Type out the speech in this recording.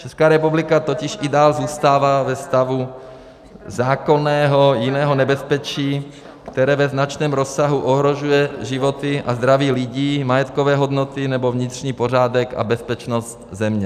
Česká republika totiž i dál zůstává ve stavu zákonného jiného nebezpečí, které ve značném rozsahu ohrožuje životy a zdraví lidí, majetkové hodnoty nebo vnitřní pořádek a bezpečnost země.